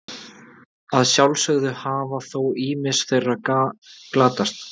Að sjálfsögðu hafa þó ýmis þeirra glatast.